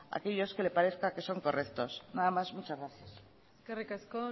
aquellos que le parezcan que son correctos nada más muchas gracias eskerrik asko